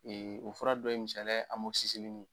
o fura dɔ ye misaliya ye